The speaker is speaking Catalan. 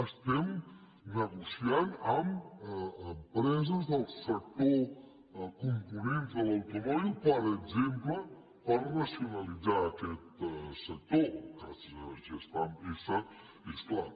estem negociant amb empreses del sector de components de l’automòbil per exemple per racionalitzar aquest sector el cas de gestamp essa és clar